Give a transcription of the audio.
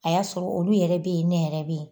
A y'a sɔrɔ olu yɛrɛ be yen, ne yɛrɛ be yen.